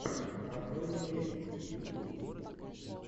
открой мне песни ютуб